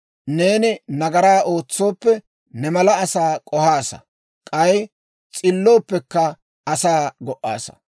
Neeni nagaraa ootsooppe, ne mala asaa k'ohaasa; k'ay s'illooppekka, asaa go"aassa.